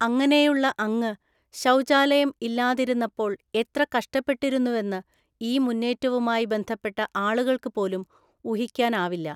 അങ്ങനെയുള്ള അങ്ങ് ശൗചാലയം ഇല്ലാതിരുന്നപ്പോള്‍ എത്ര കഷ്ടപ്പെട്ടിരുന്നുവെന്ന് ഈ മുന്നേറ്റവുമായി ബന്ധപ്പെട്ട ആളുകള്‍ക്കു പോലും ഊഹിക്കാനാവില്ല.